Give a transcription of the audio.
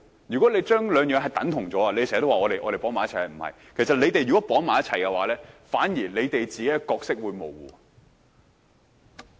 如果你們將兩者等同——你們時常說我們將事情捆綁，其實不是——如果你們將兩者捆綁，反而令你們自己的角色變得模糊。